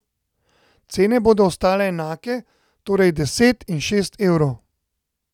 Cene bodo ostale enake, torej deset in šest evrov.